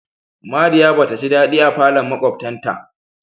Mariya ba taji dadi a falon makwabtan ta.